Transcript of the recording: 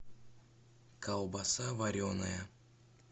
колбаса вареная